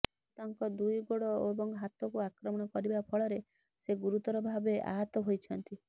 ଭାଲୁ ତାଙ୍କ ଦୁଇ ଗୋଡ଼ ଏବଂ ହାତକୁ ଆକ୍ରମଣ କରିବା ଫଳରେ ସେ ଗୁରୁତର ଭାବେ ଆହତ ହୋଇଛନ୍ତି